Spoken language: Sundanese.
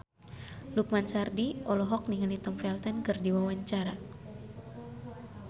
Lukman Sardi olohok ningali Tom Felton keur diwawancara